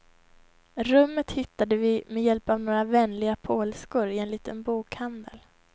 Rummet hittade vi med hjälp av några vänliga polskor i en liten bokhandel.